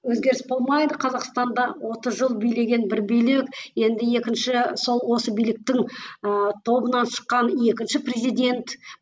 өзгеріс болмайды қазақстанда отыз жыл билеген бір билік енді екінші сол осы биліктің ы тобынан шыққан екінші президент